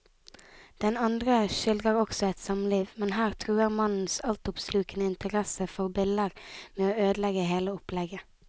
Den andre skildrer også et samliv, men her truer mannens altoppslukende interesse for biller med å ødelegge hele opplegget.